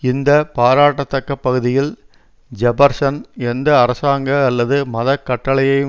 இந்த பாராட்டத்தக்க பகுதியில் ஜெபர்சன் எந்த அரசாங்க அல்லது மத கட்டளையையும்